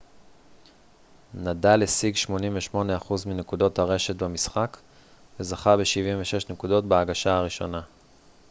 נדאל השיג 88 אחוז מנקודות הרשת במשחק וזכה ב-76 נקודות בהגשה הראשונה